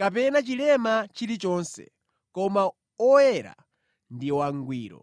kapena chilema chilichonse, koma oyera ndi wangwiro.